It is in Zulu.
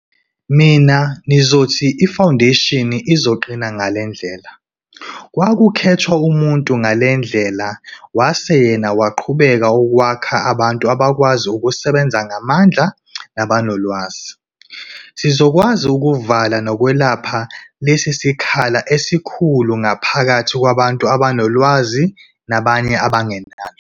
Mina nizothi ifawundeshini izoqina ngale ndlela. Kwakukhethwa umuntu ngale ndlela wase yena waqhubeka ukwakha abantu abakwazi ukusebenza ngamandla nabanolwazi. Sizokwazi ukuvala nokwelapha lesi sikhala esikhulu ngaphakathi kwabantu abanolwazi nabanye abangenalo?